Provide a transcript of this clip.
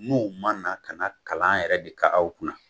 N'o ma na ka na kalan yɛrɛ de kɛ aw kunna